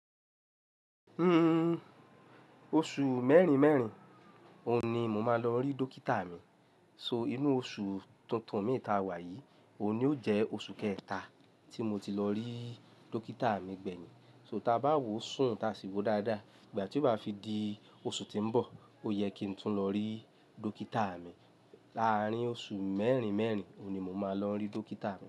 Hmm, oṣù mẹ́rin mẹ́rin òun ní mo máa lọ n rí dókítà mi. So inú oṣù tuntun mi ta wà yìí, òní ó jẹ́ oṣù kẹta tí mo ti lọ rí dókítà mi gbẹ̀yìn. So ta bá wòó sùn ta sì wo dáadáa ìgbà tí ó bá fi di oṣù tí ń bọ̀, ó yẹ kí n tún lọ rí dókítà mi. Lárín oṣù mẹ́rin mẹ́rin òní mo máa lọ rí dókítà mi.